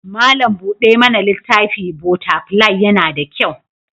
Malam buɗe mana littafi/botafilai yana da kyau.